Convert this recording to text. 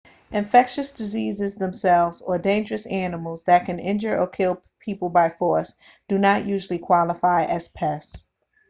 infectious diseases themselves or dangerous animals that can injure or kill people by force do not usually qualify as pests